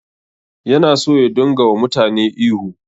Yana so ya dinga wa mutane ihu